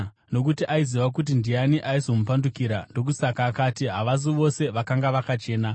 Nokuti aiziva kuti ndiani aizomupandukira, ndokusaka akati, havasi vose vakanga vakachena.